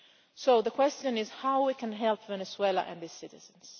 So the question is how can we help Venezuela and its citizens?